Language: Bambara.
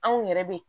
Anw yɛrɛ be